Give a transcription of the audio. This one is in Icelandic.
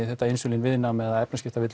þetta insúlín viðnám eða